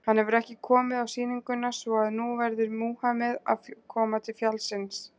Hann hefur ekki komið á sýninguna, svo að nú verður Múhameð að koma til fjallsins.